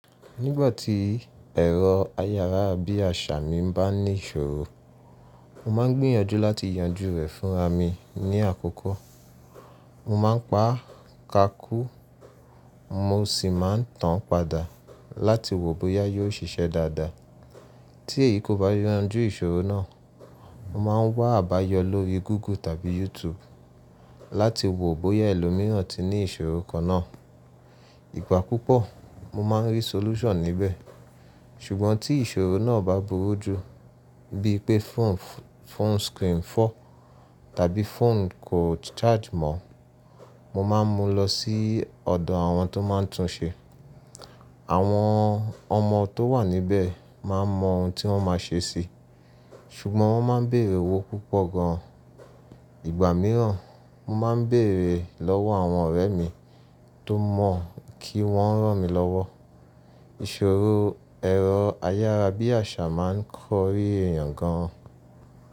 Nígbà tí ẹ̀rọ ayára bí àṣá mii bá ní ìṣòro mo ma ń gbìyànjú láti yanjú rẹ̀ fún ara mii ní àkókò. Mo máa ń pa ká kù, mo sì máa ń tàn padà láti wo bóyá yóò ṣiṣẹ́ dáadáa. Tí èyí kò bá yanjú ìṣòro náà, mo máa ń wá àbáyọ lórí Google tàbí YouTube láti wo bóyá ẹlòmíràn ti ní ìṣòro kan náà. Ìgbà púpọ̀, mo máa ń rí solution níbẹ̀. Ṣùgbọ́n tí ìṣòro náà bá burú jù, bíi pé phone screen fọ́ tàbí phone kò charge mọ́, mo máa ń mú lọ sí ọ̀dọ̀ àwọn tó máa ń tún ṣe. Àwọn ọmọ tó wà níbẹ̀ máa mọ ohun tí wọ́n máa ṣe sí i, ṣùgbọ́n wọ́n máa ń béèrè owó púpọ̀ gan. Ìgbà mìíràn, mo máa ń béèrè lọ́wọ́ àwọn ọ̀rẹ́ mi tó mọ̀ kí wọ́n ràn mí lọ́wọ́. Ìṣòro ẹ̀rọ ayára bí àṣá máa ń kọri eyin gan-an.